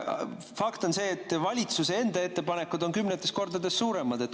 Fakt on see, et valitsuse enda ettepanekud on kümnetes kordades suuremad.